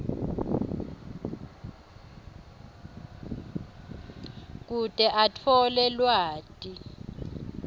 kute atfole lwati